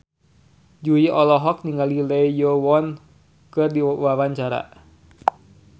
Jui olohok ningali Lee Yo Won keur diwawancara